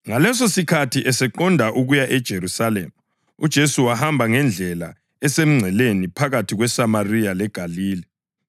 Ngalesosikhathi eseqonde ukuya eJerusalema, uJesu wahamba ngendlela esemngceleni phakathi kweSamariya leGalile.